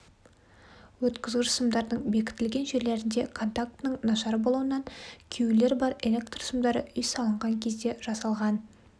өткізгіш сымдардың бекітілген жерлерінде контактінің нашар болуынан күюлер бар электр сымдары үй салынған кезде жасалған